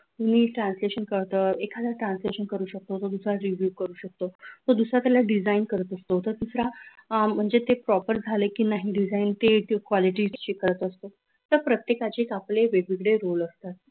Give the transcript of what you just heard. मी translation करतो एखादा translation करू शकतो तर दुसरा read view करू शकतो तर दुसरा त्याला design करू शकतो तर दुसरा म्हणजे ते proper झाले की नाही design ते quality check करत असते असे प्रत्येकाचे आपले एक वेगवेगळे rule असतात